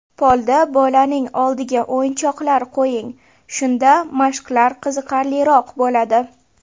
Polda bolaning oldiga o‘yinchoqlar qo‘ying, shunda mashqlar qiziqarliroq bo‘ladi.